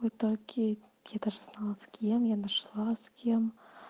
вот так я я даже знала с кем я нашла с кем